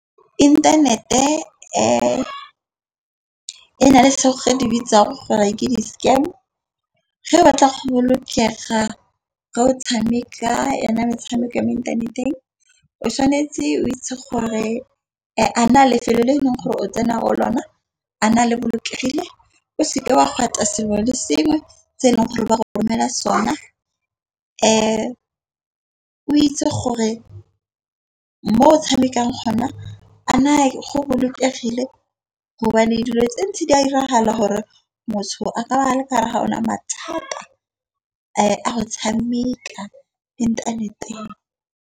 Inthanete e e na le senyege di bitsa re gore ke di-scam ge o batla go bolokega re o tshameka yona metshameko ya mo inthaneteng. O tshwanetse o itse gore a na lefelo le eleng gore o tsena go lona a na le bolokegile o se ke wa sengwe le sengwe se e leng gore ba romela sona. O itse gore mo o tshamekang gona a na le go bolokegile gobane dilo tse ntse di a diragala gore motho a ka ba le gare ga ona mathata a go tshameka le internet-eng.